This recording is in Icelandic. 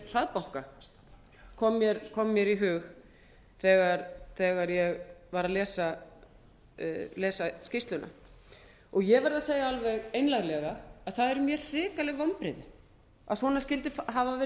hraðbanka kom hér í hug þegar ég var að lesa skýrsluna ég verð að segja alveg einlæglega að það eru mér hrikaleg vonbrigði að svona skyldi hafa verið